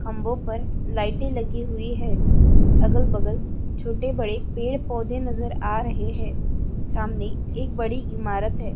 खंबों पर लाइट लगी हुई है अगल-बगल छोटे बड़े पेड़-पौधे नज़र आ रहे है सामने एक बड़ी इमारत है।